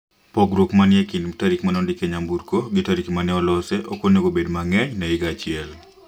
Pongruok manie kind tarik ma ne odik e nyamburko gi tarik mane olosee ok onengo obed mang'eny ne higa achiel.